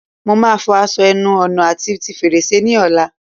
Mo máa fọ aṣọ ẹnu ọ̀nà àti ti fèrèsé ni ọ̀la